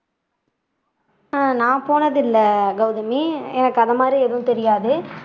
ஆஹ் நான் போனதில்ல கௌதமி எனக்கு அந்த மாதிரி எதுவும் தெரியாது